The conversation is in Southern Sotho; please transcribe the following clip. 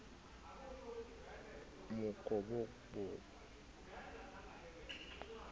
oo mokobobo o na le